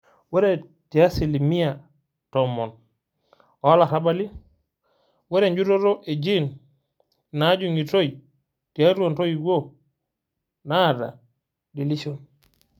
ore te asilimia 10% oolarabali, ore enjutoto e gene najung'itoi tiatua intoiwuo naata deletion.